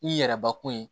I yɛrɛ bakun ye